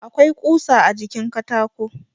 Akwai ƙusa a jikin katako.